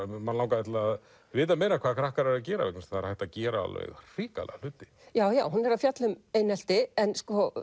mann langaði til að vita meira hvað krakkar eru að gera vegna þess að það er hægt að gera hrikalega hluti hún er að fjalla um einelti en